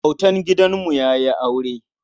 Autan gidanmu ya yi aure.